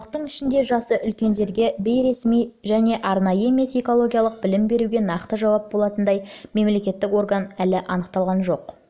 халықтың ішіндегі жасы үлкендерге бейресми және арнайы емес экологиялық білім беруге нақты жауапты болатындай мемлекеттік орган әлі анықталған жоқ